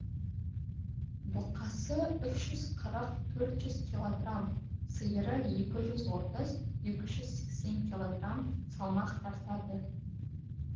бұқасы үш жүз қырық төрт жүз килограмм сиыры екі жүз отыз екі жүз сексен килограмм салмақ тартады